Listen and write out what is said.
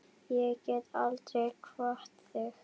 Ég get aldrei kvatt þig.